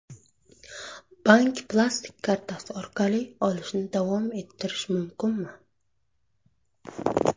Bank plastik kartasi orqali olishni davom ettirish mumkinmi?